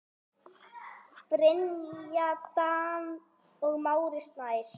Brynja Dan og Máni Snær.